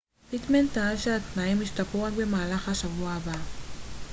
פיטמן טען שהתנאים ישתפרו רק במהלך השבוע הבא